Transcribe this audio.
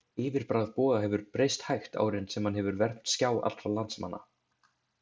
Yfirbragð Boga hefur breyst hægt árin sem hann hefur vermt skjá allra landsmanna.